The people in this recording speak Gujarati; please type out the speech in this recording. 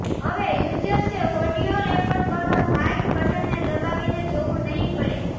હવે યૂઝર્સે ઓડિયો રેકોર્ડ કરવા માઈક બટનને દબાવીને જોવું નહી પડે